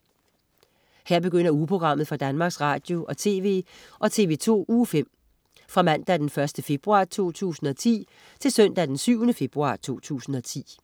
Her begynder ugeprogrammet for Danmarks Radio- og TV og TV2 Uge 5 Fra Mandag den 1. februar 2010 Til Søndag den 7. februar 2010